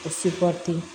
Sebate